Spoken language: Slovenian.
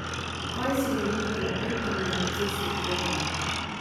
Kaj si želi v Ilkinem procesu okrevanja?